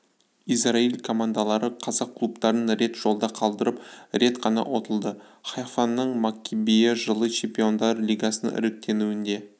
израиль командалары қазақ клубтарын рет жолда қалдырып рет қана ұтылды хайфаның маккабиі жылы чемпиондар лигасының іріктеуінде